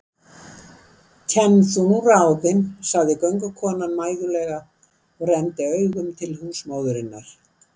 Kenn þú nú ráðin, sagði göngukonan mæðulega og renndi augum til húsmóðurinnar.